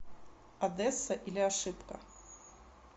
одесса или ошибка